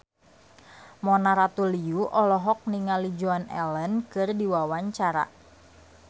Mona Ratuliu olohok ningali Joan Allen keur diwawancara